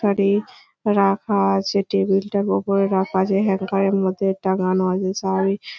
শাড়ী রাখা আছে টেবিলটার ওপরে রাখা আছে হ্যাংকারের মধ্যে টাঙ্গানো আছে শাড়ী ।